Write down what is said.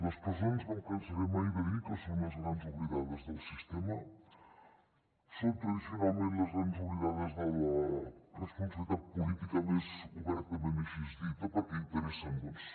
les presons no em cansaré mai de dir que són les grans oblidades del sistema són tradicionalment les grans oblidades de la responsabilitat política més obertament així dita perquè interessa doncs